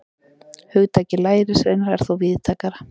Hugtakið lærisveinar er þó víðtækara.